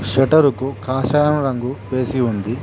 Shutter కు కాషాయం రంగు వేసి ఉంది.